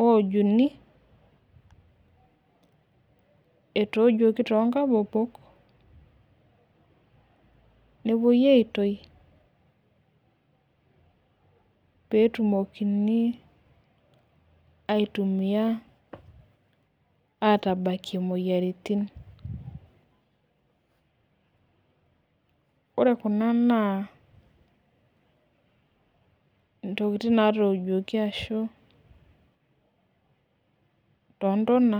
okjuni. etoojuoki too nkabobol, nepuoi aitoki, peetumokini aitumia atabakie imoyiaritin. ore Kuna naa intokitin naatojuoki ashu, too ntona,